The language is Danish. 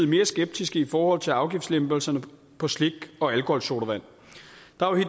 mere skeptiske i forhold til afgiftslempelserne på slik og alkoholsodavand